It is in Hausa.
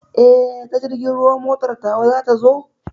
Eh, ta jirgin ruwa motar ta wa za ta zo?